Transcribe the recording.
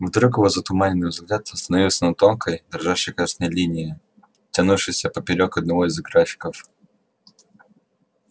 вдруг его затуманенный взгляд остановился на тонкой дрожащей красной линии тянувшейся поперёк одного из графиков